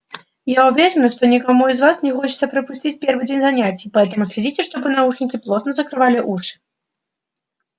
я уверена что никому из вас не хочется пропустить первый день занятий поэтому следите чтобы наушники плотно закрывали уши